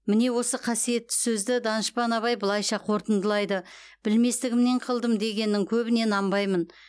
міне осы қасиетті сөзді данышпан абай былайша қортындылайды білместігімнен қылдым дегеннің көбіне нанбаймын